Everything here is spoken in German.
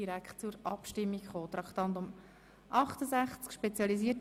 – Dies ist nicht der Fall.